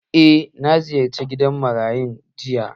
Eh, na ziyarce gidan marayu jiya